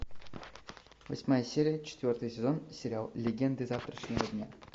восьмая серия четвертый сезон сериал легенды завтрашнего дня